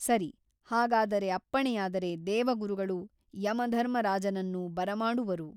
ಸರಿ ಹಾಗಾದರೆ ಅಪ್ಪಣೆಯಾದರೆ ದೇವಗುರುಗಳು ಯಮಧರ್ಮ ರಾಜನನ್ನು ಬರಮಾಡುವರು.